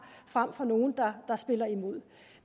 frem for nogle der spiller imod